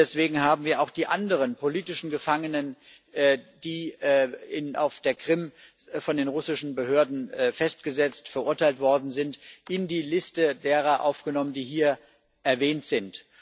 Deswegen haben wir auch die anderen politischen Gefangenen, die auf der Krim von den russischen Behörden festgesetzt und verurteilt worden sind, in die Liste derer aufgenommen, die hier erwähnt sind.